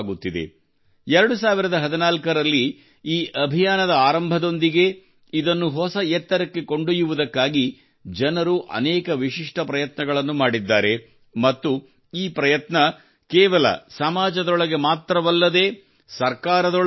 2014 ರಲ್ಲಿ ಈ ಅಭಿಯಾನದ ಆರಂಭದೊಂದಿಗೇ ಇದನ್ನು ಹೊಸ ಎತ್ತರಕ್ಕೆ ಕೊಂಡೊಯ್ಯುವುದಕ್ಕಾಗಿ ಜನರು ಅನೇಕ ವಿಶಿಷ್ಠ ಪ್ರಯತ್ನಗಳನ್ನು ಮಾಡಿದ್ದಾರೆ ಮತ್ತು ಈ ಪ್ರಯತ್ನ ಕೇವಲ ಸಮಾಜದೊಳಗೆ ಮಾತ್ರವಲ್ಲದೇ ಸರ್ಕಾರದೊಳಗೂ ನಡೆಯುತ್ತಿದೆ